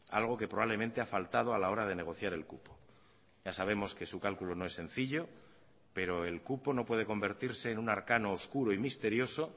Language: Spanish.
algo que probablemente ha faltado a la hora de negociar el cupo ya sabemos que su cálculo no es sencillo pero el cupo no puede convertirse en un arcano oscuro y misterioso